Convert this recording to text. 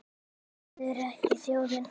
Þið eruð ekki þjóðin!